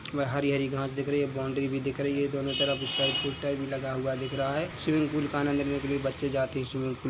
हरी-हरी घास दिख रही है बाउंड्री भी दिख रही है दोनों तरफ इस साइड साइड स्टैंड भी लगा हुआ दिख रहा है स्विमिंग पूल का आनंद लेने के लिए बच्चे जाते है स्विमिंग पूल में--